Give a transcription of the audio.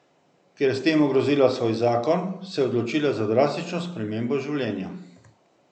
Ker je s tem ogrozila svoj zakon, se je odločila za drastično spremembo življenja.